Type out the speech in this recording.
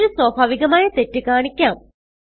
മറ്റൊരു സ്വാഭാവികമായ തെറ്റ് കാണിക്കാം